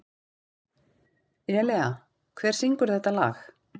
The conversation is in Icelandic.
Elea, hver syngur þetta lag?